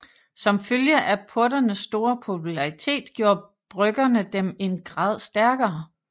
Som følge af porternes store popularitet gjorde bryggerne dem en grad stærkere